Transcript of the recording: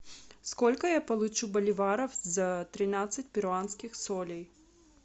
сколько я получу боливаров за тринадцать перуанских солей